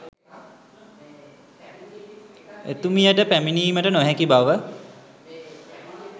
එතුමියට පැමිණීමට නොහැකි බව